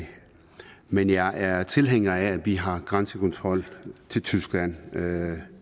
men jeg er tilhænger af at vi har grænsekontrol til tyskland og det